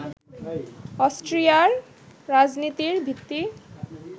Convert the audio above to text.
অস্ট্রিয়ার রাজনীতির ভিত্তি